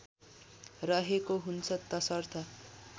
रहेको हुन्छ तसर्थ